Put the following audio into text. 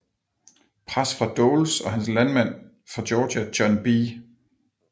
Pres fra Doles og hans landsmand fra Georgia John B